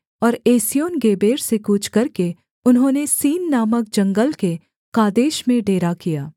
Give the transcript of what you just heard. और एस्योनगेबेर के कूच करके उन्होंने सीन नामक जंगल के कादेश में डेरा किया